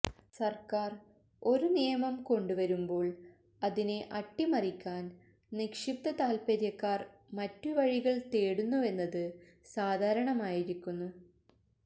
സര്ക്കാര് ഒരു നിയമം കൊണ്ടുവരുമ്പോള് അതിനെ അട്ടിമറിക്കാന് നിക്ഷിപ്ത താല്പര്യക്കാര് മറ്റുവഴികള് തേടുന്നുവെന്നത് സാധാരണമായിരിക്കുന്നു